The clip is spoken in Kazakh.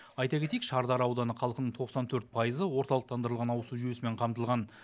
айта кетейік шардара ауданы халқының тоқсан төрт пайызы орталықтандырылған ауызсу жүйесімен қамтылған